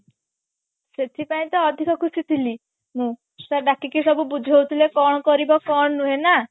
ସେଥି ପାଇଁ ତ ଅଧିକ ଖୁସି ଥିଲି ମୁଁ sir ଡାକିକି ସବୁ ବୁଝୋଉଥିଲେ କଣ କରିବ କଣ ନୁହେଁ ନା